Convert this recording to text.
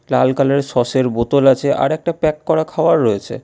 লাল কালারের সসের বোতল আছে আর একটা প্যাক করা খাবার রয়েছে।